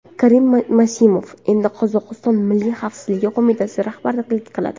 Karim Masimov endi Qozog‘iston Milliy xavfsizlik qo‘mitasiga rahbarlik qiladi.